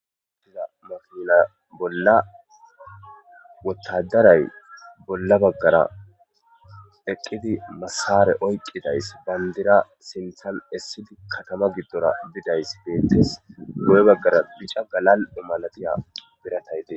Ha misila bolla Wotadaray bolla bagara eqidi masara oykidays bandira sinthan esifi katama gidora bidays betes guye bagara bica galal'o malatida biratay dees